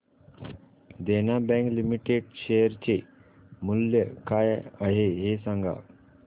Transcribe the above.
देना bank limited share चे मूल्य काय आहे हे सांगा